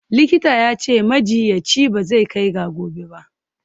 Likitan ya ce, majiyyaci ba zai kai ga gobe ba.